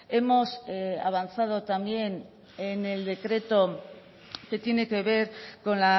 hemos avanzado también en el decreto que tiene que ver con